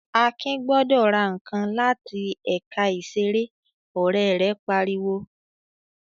"Akin gbọdọ̀ ra nǹkan láti ẹ̀ka ìṣeré!" Ọ̀rẹ́ rẹ̀ pariwo.